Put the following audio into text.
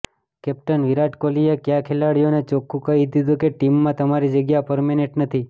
captain Virat કોહલીએ કયા ખેલાડીઓને ચોખ્ખુ કહી દીધુ કે ટીમમાં તમારી જગ્યા પરમેનન્ટ નથી